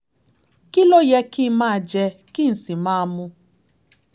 kí ló yẹ kí n máa jẹ kí n sì máa mu?